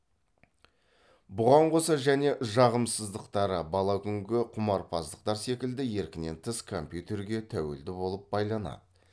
бұған қоса және жағымсыздықтары бала күнгі құмарпаздықтар секілді еркінен тыс компьютерге тәуелді болып байланады